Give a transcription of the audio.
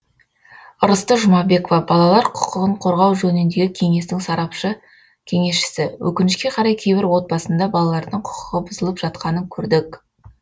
ырысты жұмабекова балалар құқығын қорғау жөніндегі кеңестің сарапшы кеңесшісі өкінішке қарай кейбір отбасында балалардың құқығы бұзылып жатқанын көрдік